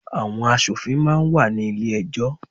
Àwọn asòfin máa ń wà ní ilé ẹjọ́.